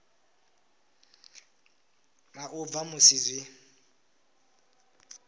na u bva musi zwi